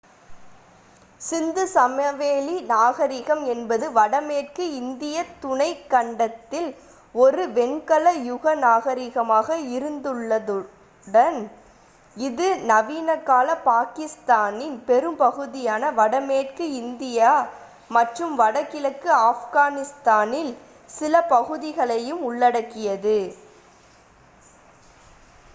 சிந்து சமவெளி நாகரிகம் என்பது வடமேற்கு இந்தியத் துணைக் கண்டத்தில் ஒரு வெண்கல யுக நாகரிகமாக இருந்துள்ளதுடன் இது நவீனகால பாகிஸ்தானின் பெரும்பகுதியையும் வடமேற்கு இந்தியா மற்றும் வடகிழக்கு ஆப்கானிஸ்தானில் சில பகுதிகளையும் உள்ளடக்கியது